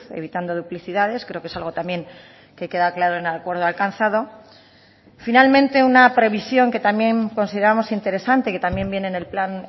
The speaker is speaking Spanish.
evitando duplicidades creo que es algo también que queda claro en el acuerdo alcanzado finalmente una previsión que también consideramos interesante que también viene en el plan